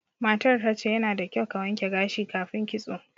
Matar ta ce, yana da kyau ka wanke gashi kafin kitso.